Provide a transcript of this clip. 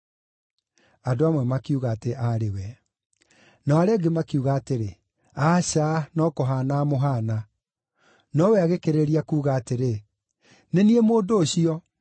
Andũ amwe makiuga atĩ aarĩ we. Nao arĩa angĩ makiuga atĩrĩ, “Aca, no kũhaana amũhaana.” Nowe agĩkĩrĩrĩria kuuga atĩrĩ, “Nĩ niĩ mũndũ ũcio.”